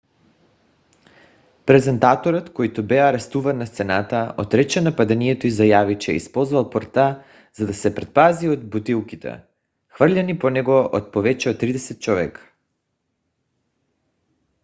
презентаторът който бе арестуван на сцената отрече нападението и заяви че е използвал пръта за да се предпази от бутилките хвърляни по него от повече от тридесет човека